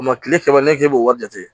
O ma kile saba ne k'e b'o wari jate